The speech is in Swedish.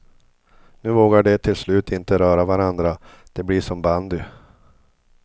Nu vågar de till slut inte röra varandra, det blir som bandy.